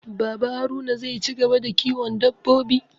Baba Haruna zai ci gaba da kiwon dabbobi